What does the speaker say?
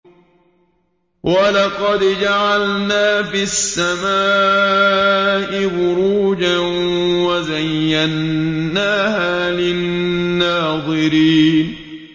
وَلَقَدْ جَعَلْنَا فِي السَّمَاءِ بُرُوجًا وَزَيَّنَّاهَا لِلنَّاظِرِينَ